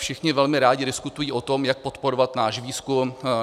Všichni velmi rádi diskutují o tom, jak podporovat náš výzkum.